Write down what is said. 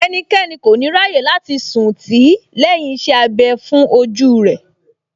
Ẹnikẹ́ni kò ní ráyè láti sùn tì í lẹ́yìn iṣẹ́ abẹ fún ojú rẹ̀